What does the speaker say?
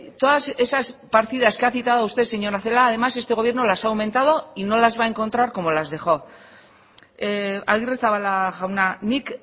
todas esas partidas que ha citado usted señora celaá además este gobierno las ha aumentado y no las va a encontrar como las dejó agirrezabala jauna nik